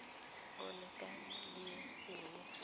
o ikaelelang go e dira